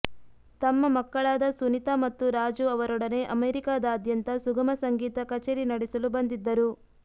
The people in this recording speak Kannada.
ತಮ್ಮ ಮಕ್ಕಳಾದ ಸುನೀತ ಮತ್ತು ರಾಜು ಅವರೊಡನೆ ಅಮೇರಿಕದಾದ್ಯಂತ ಸುಗಮ ಸಂಗೀತ ಕಚೇರಿ ನಡೆಸಲು ಬಂದಿದ್ದರು